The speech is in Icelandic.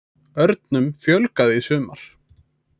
Örnum fjölgaði í sumar